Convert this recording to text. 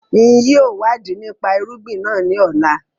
Ń yìí ó wà di nípa irúgbìn náà ńi ọ̀la